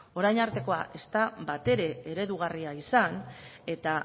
orain artekoa ez da batere eredugarria izan eta